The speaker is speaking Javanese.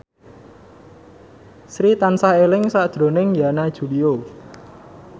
Sri tansah eling sakjroning Yana Julio